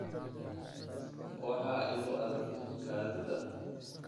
Waxaa igu adag kaadida